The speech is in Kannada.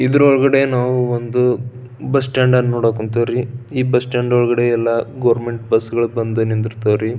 ಇದರ ಒಳಗಡೆ ನಾವು ಒಂದು ಬಸ್ ಸ್ಟಾಂಡ್ ನೋಡಕ್ ಅಯ್ತ್ರಿ ಈ ಬಸ್ ಸ್ಟ್ಯಾಂಡ್ ಒಳಗಡೆ ಎಲ್ಲಾ ಗವರಮೆಂಟ್ ಬಸ್ಗಳೆಲ್ಲ ಬಂದು ನಿಂದರ್ತವರಿ.